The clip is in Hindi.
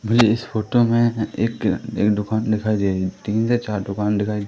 मुझे इस फोटो में एक एक दुकान दिखाई दे रही तीन से चार दुकान दिखाई--